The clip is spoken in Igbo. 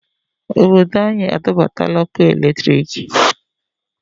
Obodo anyị adọbatala ọkụ